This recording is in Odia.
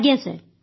ଆଜ୍ଞା ସାର୍